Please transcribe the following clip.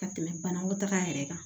Ka tɛmɛ banakɔtaga yɛrɛ kan